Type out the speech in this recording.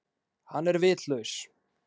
Hann er vitlaus.